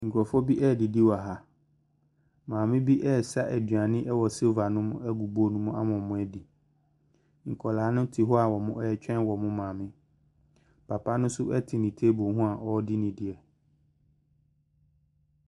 Nkurɔfoɔ bi redidi wɔ ha. Maame bi resa aduane wɔ sereba no mu agu bowl no mu ama wɔadi. Nwadaa no te hɔ a wɔretwɛn wɔn maame. Papa no nso te ne table ho a ɔredi ne deɛ.